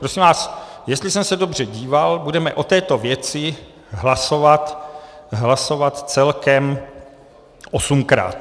Prosím vás, jestli jsem se dobře díval, budeme o této věci hlasovat celkem osmkrát.